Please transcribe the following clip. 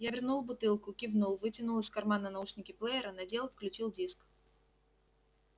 я вернул бутылку кивнул вытянул из кармана наушники плеера надел включил диск